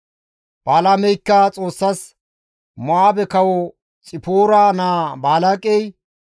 Balaameykka Xoossas, «Mo7aabe kawo Xipoora naa Balaaqey,